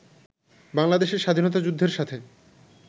বাংলাদেশের স্বাধীনতা যুদ্ধের সাথে